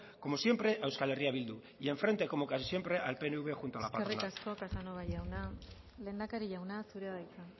como siempre a eh bildu y en frente como casi siempre al pnv junto a la patronal eskerrik asko casanova jauna lehendakari jauna zurea da hitza